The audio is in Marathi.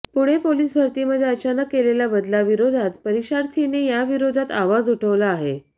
पुणे पोलीस भरतीमध्ये अचानक केलेल्या बदलाविरोधात परीक्षार्थींनी याविरोधात आवाज उठवला आहे